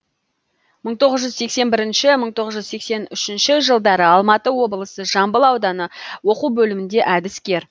мың тоғыз жүз сексен бірінші мың тоғыз жүз сексен үшінші жылдары алматы облысы жамбыл ауданы оқу бөлімінде әдіскер